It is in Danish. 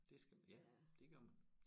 Det skal man ja det gør man